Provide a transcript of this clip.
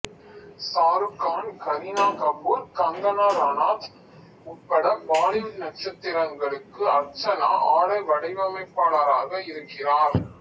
சாருக் கான் கரீனா கபூர் கங்கனா ரனாத் உட்பட பாலிவுட் நட்சத்திரங்களுக்கு அர்ச்சனா ஆடை வடிவமைப்பாளராக இருக்கிறார்